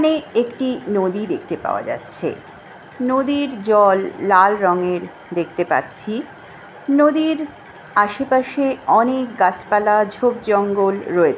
এনে একটি দেখতে পাওয়া যাচ্ছে। নদীর জল লাল রঙের দেখতে পাচ্ছি নদীর আশেপাশে অনেক গাছপালা ঝোপ জঙ্গল রয়ে--